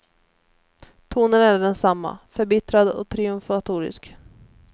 Tonen är densamma, förbittrad och triumfatorisk.